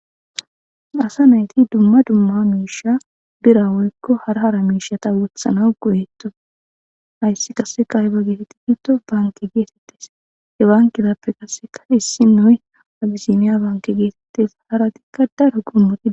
asa nayti dumma dumma miisha bira woykko hara hara miishata wothana go7etto ayssi qasseka yba geesetti bitto banke geesettes he bankitappe qasseka issi noy adiziniya banke geesettes haratikka daro goomoti